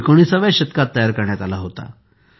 तो एकोणिसाव्या शतकात तयार करण्यात आला होता